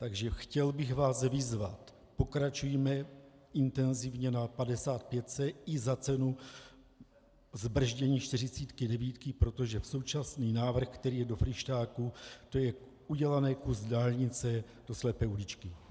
Takže chtěl bych vás vyzvat, pokračujme intenzivně na 55 i za cenu zbrzdění 49, protože současný návrh, který je do Fryštáku, to je udělaný kus dálnice do slepé uličky.